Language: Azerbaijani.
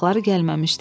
Ayaqları gəlməmişdi.